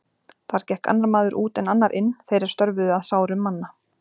Þar gekk annar maður út en annar inn, þeir er störfuðu að sárum manna.